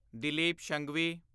Dilip Shanghvi